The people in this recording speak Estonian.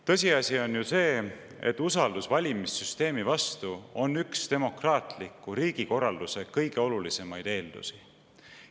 Tõsiasi on ju see, et usaldus valimissüsteemi vastu on üks demokraatliku riigikorralduse kõige olulisemaid eeldusi.